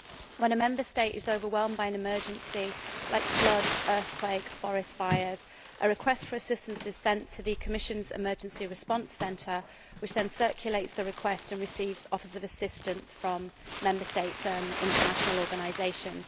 When a Member State is overwhelmed by an emergency like floods, earthquakes, forest fires a request for assistance is sent to the Commission's emergency response centre, which then circulates the request and receives offers of assistance from other Member States and international organisations.